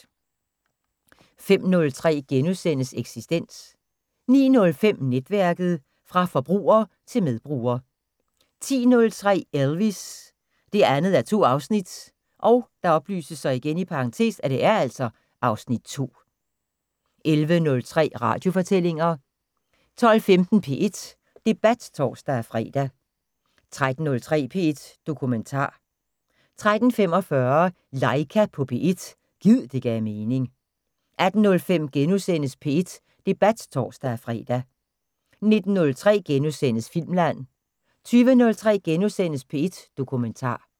05:03: Eksistens * 09:05: Netværket: Fra forbruger til medbruger 10:03: Elvis: 2:2 (Afs. 2) 11:03: Radiofortællinger 12:15: P1 Debat (tor-fre) 13:03: P1 Dokumentar 13:45: Laika på P1 – gid det gav mening 18:05: P1 Debat *(tor-fre) 19:03: Filmland * 20:03: P1 Dokumentar *